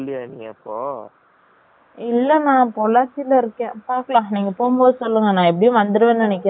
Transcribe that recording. இல்ல நா பாக்கலாம் கிடைச்சா சொல்லுங்க நான் எப்படியும் வந்துருவேன் நினைகிரீன் இன்னைக்கோ நாலைக்கோ